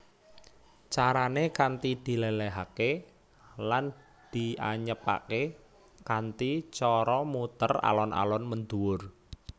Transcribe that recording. Carané kanthi diléléhaké lan dianyepaké kanthi cara muter alon alon mendhuwur